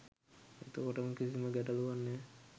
එතකොට කිසිම ගැටලුවක් නෑ.